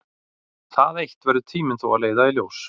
Það eitt verður tíminn þó að leiða í ljós.